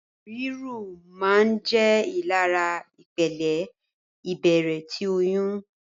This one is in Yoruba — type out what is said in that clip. Riru maa n jẹ írilara ìpele ibẹrẹ ti oyún